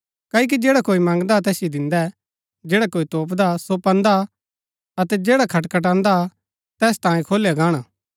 क्ओकि जैडा कोई मंगदा तैसिओ दिन्दै जैडा कोई तोपदा सो पान्दा अतै जैडा खटखटान्दा तैस तांयें खोलया गाणा